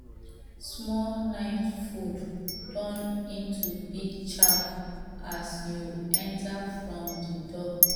small night food turn into big chow as you enter from the door